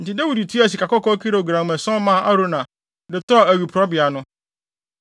Enti Dawid tuaa sikakɔkɔɔ kilogram ason maa Arauna, de tɔɔ awiporowbea no.